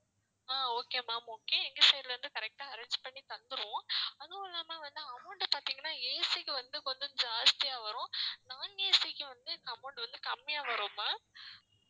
அஹ் okay ma'am okay எங்க side ல இருந்து correct ஆ arrange பண்ணி தந்திருவோம் அதுவும் இல்லாம வந்து amount அ பாத்தீங்கன்னா AC க்கு வந்து கொஞ்சம் ஜாஸ்தியா வரும் non AC க்கு வந்து amount வந்து கம்மியா வரும் ma'am